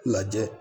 Lajɛ